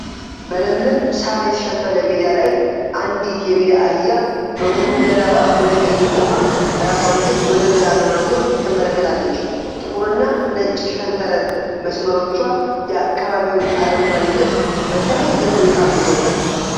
በለምለም ሳር የተሸፈነ ሜዳ ላይ፣ አንዲት የሜዳ አህያ በሙሉ ገላዋ ወደ ቀኝ ቆማ፣ ራሷን ግን ወደ ግራ በማዞር ትመለከታለች። ጥቁርና ነጭ ሸንተረር መስመሮቿ የአካባቢውን አረንጓዴነት በተለየ ሁኔታ አጉልተውታል ።